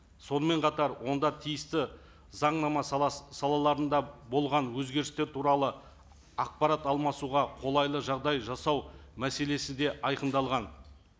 сонымен қатар онда тиісті заңнама салаларында болған өзгерістер туралы ақпарат алмасуға қолайлы жағдай жасау мәселесі де айқындалған